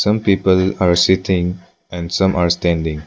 Some people are sitting and some are standing.